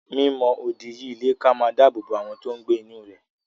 Mi mọ odi yí ilé ká máa dáàbò bo àwọn tí n gbé inú rẹ̀